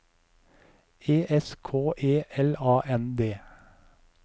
E S K E L A N D